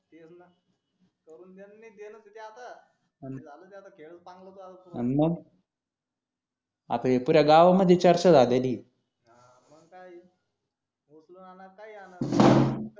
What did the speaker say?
करून देणं नि देणं च हे ते आता झालं ते आता खेळ पांगला अन मग आता हे पुऱ्या गावा मधी चर्चा झालेलीये हा मग काय ये उचलून आणा काही आना